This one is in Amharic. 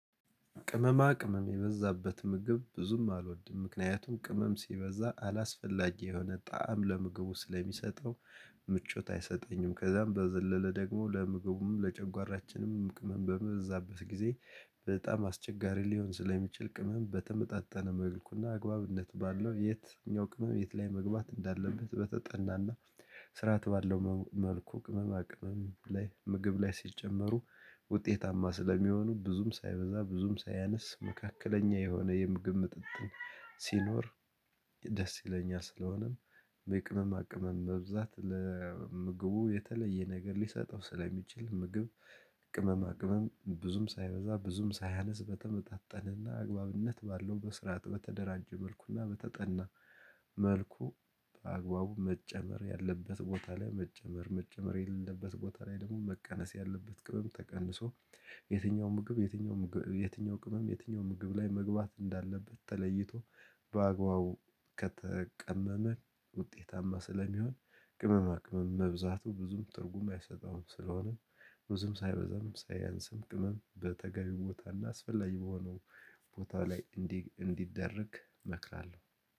ቅመማ ቅመም የበዛበት ምግብ ብዙም አልወድም ምክንያቱም ቅመም ሲበዛ አላስፈላጊ የሆነ ጣዕም ለምግቡ ስለሚሰጠው ምቾት አይሰጠኝም። ከዛም በዘለለ ደግሞ ለምግቡም ለጨጓራችንም ቅመም በመዘበት ጊዜ በጣም አስቸጋሪ ሊሆን ስለሚችል ቅመም በተመጣጠነ መልኩና አግባብነት ባለው የትኛው ቅመም የት ላይ መግባት እንዳለበት በተጠናና ስርዓት ባለው መልኩ ቅመማ ቅመም ላይ ምግብ ላይ ሲጨመሩ ውጤታማ ስለሚሆኑ ብዙም ሳይበዛ ብዙም ሳያነስ መካከለኛ የሆነ የምግብ ምጥጥን ሲኖር ደስ ይለኛል፤ ስለሆነም ቅመማ ቅመም መብዛት ለምግቡ የተለየ ነገር ሊሰጠው ስለሚችል ምግብ ቅመማ ቅመም ብዙም ሳይበዛ ብዙም ሳያነስ በተመጣጠነና አግባብነት ባለው በስርዓት በተደራጀ መልኩና በተጠና መልኩ በአግባቡ መጨመር ያለበት ቦታ ላይ መጨመር መጨመር የለበት ቦታ ላይ ደግሞ መቀነስ ያለበት ቅመም ተቀንሶ የትኛው ምግብ የትኛው የትኛው ቅመም የትኛው ምግብ ላይ መግባት እንዳለበት ተለይቶ በአግባቡ ከተቀመመ ውጤታማ ስለሚሆን ቅመማ ቅመም መብዛቱ ብዙም ትርጉም አይሰጠውም ስለሆነም ብዙም ሳይበዛም ሳያንስም ቅመም በተገቢ ቦታ እና አስፈላጊ በሆነው ቦታ ላይ እንዲደረግ እመክራለሁ።